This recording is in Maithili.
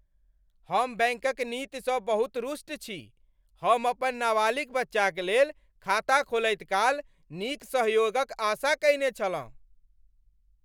हम बैंकक नीतिसँ बहुत रुष्ट छी। हम अपन नाबालिग बच्चाक लेल खाता खोलैत काल नीक सहयोगक आशा कयने छलहुँ।